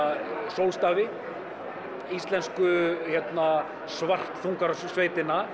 sólstafi íslensku